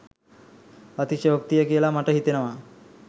අතිශයෝක්තිය කියලා මට හිතෙනවා.